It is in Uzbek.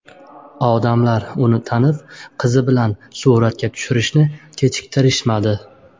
Odamlar uni tanib, qizi bilan suratga tushirishni kechiktirishmadi.